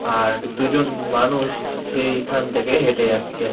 আর দুজন মানুষ সেই খান থেকে হেঁটে যাচ্ছে।